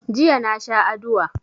Jiya na sha adua.